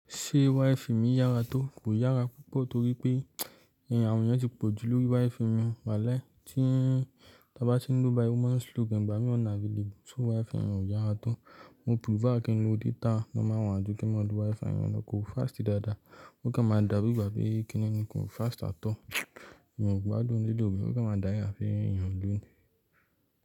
Ṣé Wi-Fi mi yára tó? Kò yára púpọ̀ torí pé èèyàn àwọn yẹn ti pọ̀jù lórí Wi-Fi mi. Wálái tí tá bá ti ń lo bài ó máa ń slow gan ìgbámi unavailabe so wife yẹn ò yára tó. Mo prefer kí n lo data normal one jù kí n máa lo Wi-Fi mi lo, kò fast dáadáa. Ó kàn máa dàbí ìgbà pé kíni ni kò fast at all. Mi ò gbádùn radio mi, ó kàn máa dáyà fún èèyàn o lò ó.